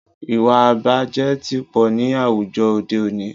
Ìwàìbàjẹ́ tí pọ̀ ní àwùjọ òde òní.